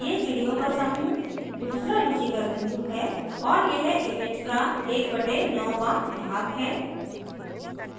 यह चिड़ियों का समूह दूसरा रुचिकर बिंदु है और यह image का 1/9th वां भाग है